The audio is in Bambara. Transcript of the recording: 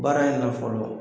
Baara in na fɔlɔ